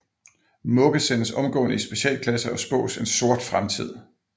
Mugge sendes omgående i specialklasse og spås en sort fremtid